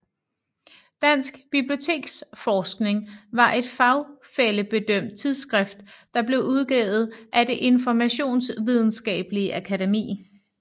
Dansk Biblioteksforskning var et fagfællebedømt tidsskrift der blev udgivet af Det Informationsvidenskabelige Akademi